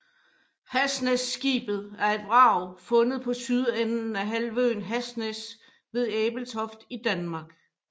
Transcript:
Hasnæsskibet er et vrag fundet på sydenden af halvøen Hasnæs ved Ebeltoft i Danmark